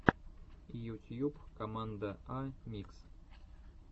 ютьюб команда а микс